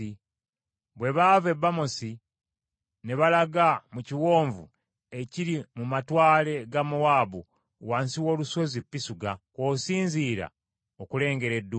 Bwe baava e Bamosi ne balaga mu kiwonvu ekiri mu matwale ga Mowaabu wansi w’olusozi Pisuga, kw’osinziira okulengera eddungu.